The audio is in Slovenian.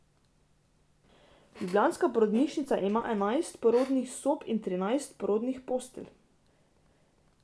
Ljubljanska porodnišnica ima enajst porodnih sob in trinajst porodnih postelj.